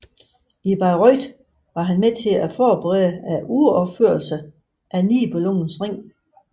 I Bayreuth var han med til at forberede uropførelserne af Nibelungens Ring